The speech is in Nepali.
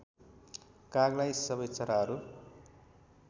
कागलाई सबै चराहरू